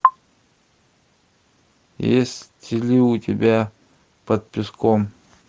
есть ли у тебя под песком